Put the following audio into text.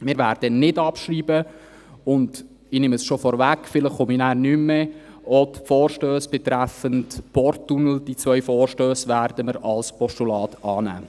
Wir werden nicht abschreiben und – ich nehme es schon vorweg, vielleicht spreche ich nachher nicht mehr – auch die zwei Vorstosse betreffend den Porttunnel als Postulat annehmen.